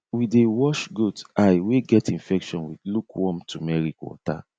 we dey wash goat eye wey get infection with lukewarm turmeric water